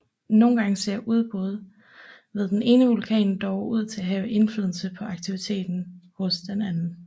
Nogle gange ser udbrud ved den ene vulkan dog ud til at have indflydelse på aktivitet hos den anden